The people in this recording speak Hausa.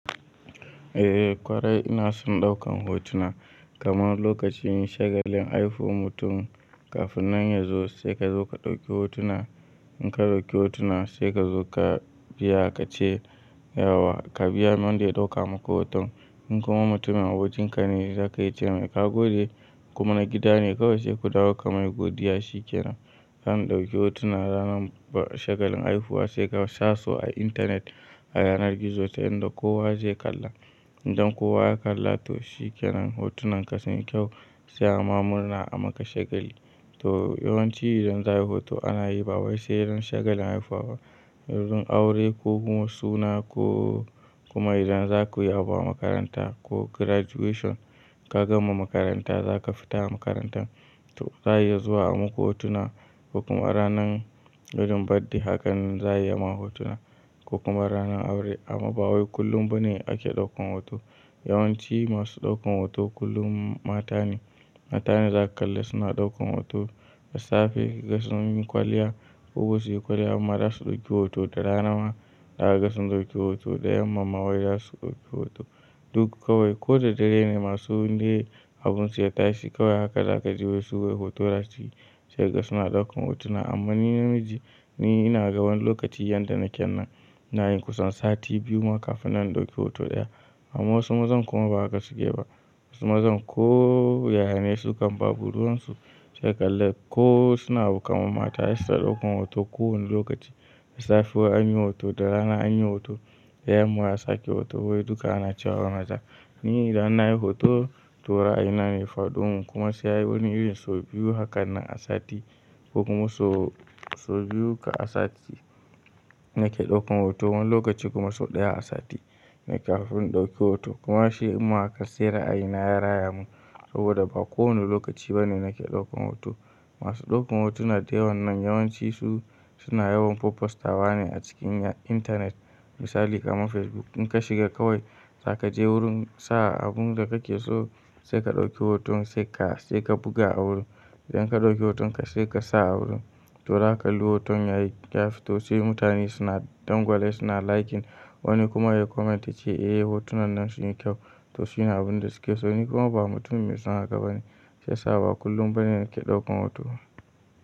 Eh ƙwarai ina son ɗaukan hotuna kaman lokacin shagalin haifuwan mutum kafin nan ya zo sai ka zo ka ɗauki hotuna. In ka ɗauki hotuna sai ka zo ka biya ka ce yawa ka biya wanda ya ɗauka maku hoton. In kuma mutumin abokinka ne zaka iya ce mai ka gode kuma na gida ne kawai sai ku dawo ka mai godiya shi ke nan. Zamu ɗauki hotuna ranar shagalin haifuwa sai ka sasu a intanet a yanar gizo ta inda kowa zai kalla. Idan kowa ya kalla to shi ke nan hotunan ka sun yi kyau sai ama murna a maka shagali. To yawanci idan za'a yi hoto ana yi ba wai sai ran shagalin haifawa, lokacin aure ko kuma suna ko kuma idan za ku yi abu a makaranta ko graduation ka gama makaranta za ka fita makarantar to za'a iya zuwa a maku hotuna ko kuma ranan gudun badde hakan za a yi ma hotuna ko kuma ranan aure. Amma ba wai kullum bane ake ɗaukan hoto. Yawanci masu ɗaukan hoto kullum mata ne. Mata ne za ka kalla suna ɗaukan hoto, lissafi, gasan yin kwalliya. Ko su yi kwalliya amma za su ɗauki hoto da rana ma za su ɗauki hoto da yamma ma wai za su ɗauki hoto. Duk kawai ko da dare ne masu wanda habunsu ya tashi kawai haka za ka ji wai suwai hotora su yi sai ka ga suna ɗaukan hotuna. Amma ni namiji ina ga wani lokaci yanda na kyan nan na yi kusan sati biyu ma kafin na ɗauki hoto ɗaya amma wasu mazan kuma ba haka suke ba. Wasu mazan ko yayane su kan babu ruwan su sai ka lalla ko suna abu kaman mata se suyita ɗaukan hoto ko wani lokaci. Da safe an yi hoto, da rana an yi hoto, da yamma za su sake hoto wai duka ana cewa na ja. Ni idan na yi hoto to rayina ne faɗo kuma sai wani irin so biyu hakan nan a sati ko kuma so so biyu ka a sati nake ɗaukan hoto wani lokaci kuma so ɗaya a sati ne kafin in ɗauki hoto. Kuma shi ɗinma haka sai ra a yi na ya raya mun saboda ba kowane lokaci bane nake ɗaukan hoto. Masu ɗaukan hotuna dayawan nan yawanci su suna yawan pupostawa ne a cikin intanet misali kaman Facebook in ka shiga kawai za ka je wurin sa abun da kake so sai ka ɗauki hoton sai ka sai ka buga a wurin. Idan ka ɗauki hotonka sai ka sa a wurin to zaka kalli hoton yayi yafi to sai mutane suna dangwalai suna liking wani kuma ya comment yace eh hotunan nan sun yi kyau to suna abun da suke so. Ni kuma ba mutum mai son haka bane sai sa ba kullum bane nake ɗaukan hoto.